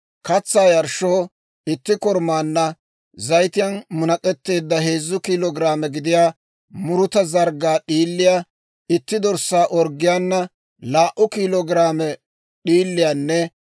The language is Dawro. Katsaa yarshshoo itti korumaanna zayitiyaan munak'etteedda heezzu kiilo giraame gidiyaa muruta zarggaa d'iiliyaa, itti dorssaa orggiyaana laa"u kiilo giraame d'iiliyaanne